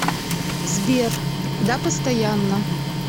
сбер да постоянно